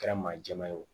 Kɛra maa jɛman ye o